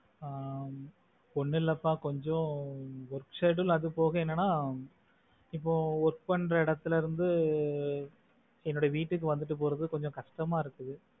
ஆஹ் ஒன்னும் இல்லப்பா கொஞ்சம் work schedule அது போக என்னன்னா இப்போ work பண்ற இடத்துல இருந்து என்னுடைய வீட்டுக்கு வந்துட்டு போறது கொஞ்சம் கஷ்டமா இருக்கு.